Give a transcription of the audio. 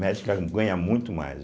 Médica ganha muito mais.